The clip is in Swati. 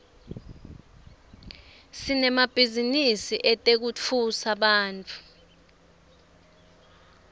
sinemabhizinisi etekutfutsa bantfu